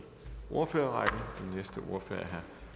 ordfører